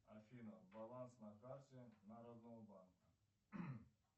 афина баланс на карте народного банка